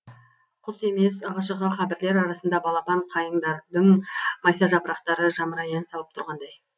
құс емес ығы жығы қабірлер арасындағы балапан қайыңдардың майса жапырақтары жамырай ән салып тұрғандай